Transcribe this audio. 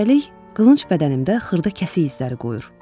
Üstəlik, qılınc bədənimdə xırda kəsik izləri qoyur.